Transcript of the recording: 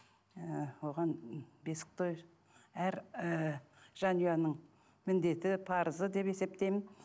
ы оған бесік той әр ы жанұяның міндеті парызы деп есептеймін